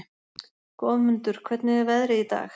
Goðmundur, hvernig er veðrið í dag?